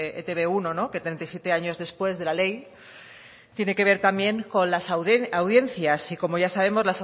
etb uno que treinta y siete años después de la ley tiene que ver también con las audiencias y como ya sabemos